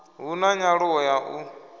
hu na nyaluwo ya u